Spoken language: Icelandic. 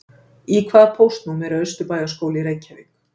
Í hvaða póstnúmeri er Austurbæjarskóli í Reykjavík?